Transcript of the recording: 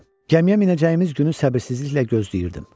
Gəmiyə minəcəyimiz günü səbirsizliklə gözləyirdim.